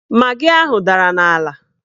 Magị ahụ dara n'ala